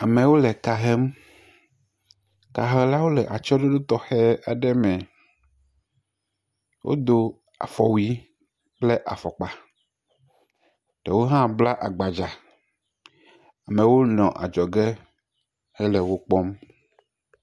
Amewo le ka hem. Kahelawo le atyse ɖoɖo tɔxɛ aɖe me. Wodo afɔwuie kple afɔkpa. Ɖewo hã bla agbadza me wo nɔ adzɔ ge he le wokpɔm.